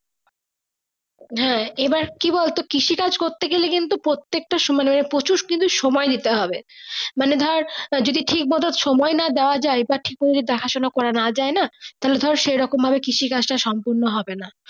হ্যাঁ এবার কি বলতো কিসে কাজ করতে গেলে কিন্তু প্রতেকটা মানে প্রচুর কিন্তু সময় নিতে হবে মানে ধরে ঠিক ভাবে সময় না দেওয়া যাই বা ঠিক ভাবে দেখা সোনা করা না যাই না তাহলে সেই রকম ভাবে কৃষি কাজ টা সম্পূর্ণ হবে না।